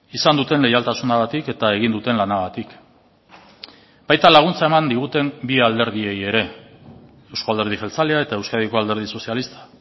izan duten leialtasunagatik eta egin duten lanagatik baita laguntza eman diguten bi alderdiei ere euzko alderdi jeltzalea eta euskadiko alderdi sozialista